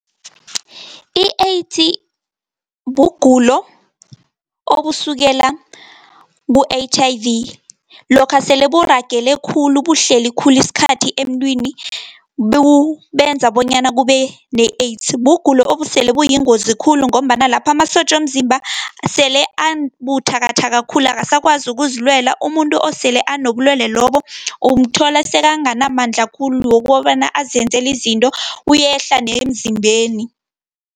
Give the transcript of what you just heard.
I-AIDS, bugulo obusukela ku_H_I_V, lokha sele buragele khulu, buhleli khulu isikhathi emntwini, benza bonyana kubene-AIDS. Bugulo obusele buyingozi khulu, ngombana lapha amasotja womzimba sele abuthakathaka khulu, akasakwazi ukuzilwela. Umuntu osele anobulwele lobo, umthola sekanganamandla khulu, wokobana azenzeli izinto uyehla nemzimbeni.